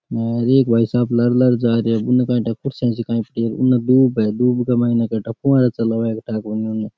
अर एक भाईसाहब लार लार जा रहे है उनने काई ठा --